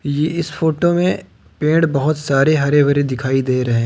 ये इस फोटो में पेड़ बहोत सारे हरे भरे दिखाई दे रहे--